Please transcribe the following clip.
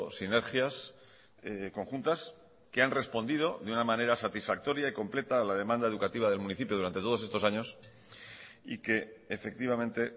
sinergias conjuntas que han respondido de una manera satisfactoria y completa a la demanda educativa del municipio durante todos estos años y que efectivamente